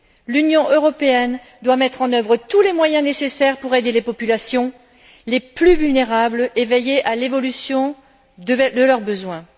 L'Union européenne doit mettre en œuvre tous les moyens nécessaires pour aider les populations les plus vulnérables et veiller à l'évolution de leurs besoins.